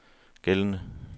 gældende